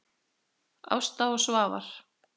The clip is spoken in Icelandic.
Ásta og Svafar.